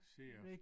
Sea of